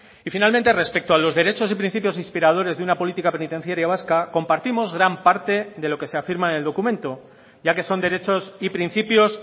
y finalmente respecto a los derechos y principios inspiradores de una política penitenciaria vasca compartimos gran parte de lo que se afirma en el documento ya que son derechos y principios